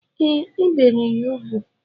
E, e bere ya ugwu